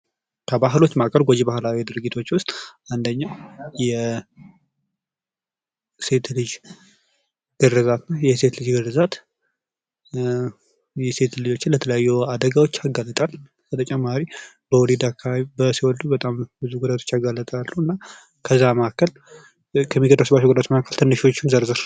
ከባህሎች መካከል ጎጂ ባህላዊ ድርጊቶች ውስጥ አንደኛው የሴት ልጅ ግርዛት የሴት ልጅ ግርዛት ኧ የሴት ልጆችን ለተለያዩ አደጋዎች ያጋለጣል። በተጨማሪ በወሊድ አካባቢ ሲወልዱ በጣም ብዙ ጉዳቶች አጋለጣሉ እና ከዛ መካከል ከሚደርስባቸው ጉዳቶች መካከል ትንሾችን ዘርዝር?